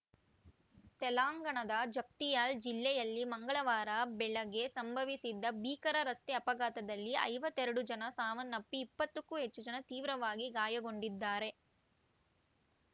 ತೆಲಂಗಾಣದ ಜಗ್ತಿಯಾಲ್‌ ಜಿಲ್ಲೆಯಲ್ಲಿ ಮಂಗಳವಾರ ಬೆಳಗ್ಗೆ ಸಂಭವಿಸಿದ ಭೀಕರ ರಸ್ತೆ ಅಪಘಾತದಲ್ಲಿ ಐವತ್ತ್ ಎರಡು ಜನ ಸಾವನ್ನಪ್ಪಿ ಇಪ್ಪತ್ತಕ್ಕೂ ಹೆಚ್ಚು ಜನ ತೀವ್ರವಾಗಿ ಗಾಯಗೊಂಡಿದ್ದಾರೆ